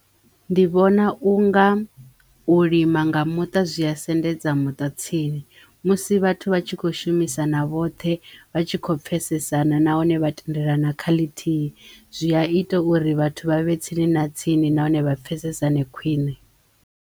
Ndi vhona u nga u lima nga muṱa zwi ya sendedza muṱa tsini musi vhathu vha tshi kho shumisana vhoṱhe vha tshi kho pfesesana nahone vha tendelana kha ḽithi zwi ya ita uri vhathu vha vhe tsini na tsini nahone vha pfesesane khwiṋe.